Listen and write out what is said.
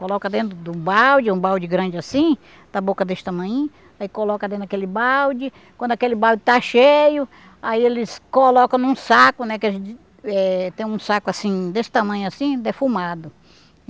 Coloca dentro do balde, um balde grande assim, da boca desse tamanhinho, aí coloca dentro daquele balde, quando aquele balde está cheio, aí eles colocam num saco, né, que a gente eh tem um saco assim, desse tamanho assim, defumado.